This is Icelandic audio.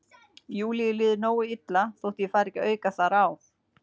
Júlíu líður nógu illa þótt ég fari ekki að auka þar á.